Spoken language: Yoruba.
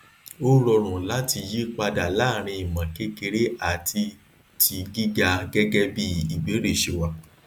ó rọrùn láti yí padà láàrín imọkekere àti tigíga gẹgẹ bí ìbéèrè ṣe wà